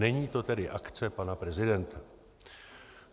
Není to tedy akce pana prezidenta.